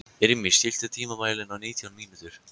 Irmý, stilltu tímamælinn á nítján mínútur.